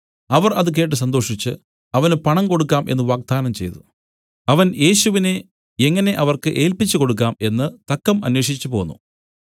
അവർ അത് കേട്ട് സന്തോഷിച്ച് അവന് പണം കൊടുക്കാം എന്നു വാഗ്ദാനം ചെയ്തു അവൻ യേശുവിനെ എങ്ങനെ അവർക്ക് ഏല്പിച്ചുകൊടുക്കാം എന്നു തക്കം അന്വേഷിച്ചുപോന്നു